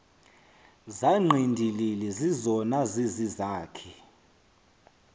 zangqindilili zizona zizizakhi